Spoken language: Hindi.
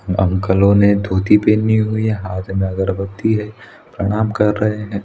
अंकललोने धोती पहनी हुई है। हाथ में अगरबत्ती है। प्रणाम कार रहे हैं ।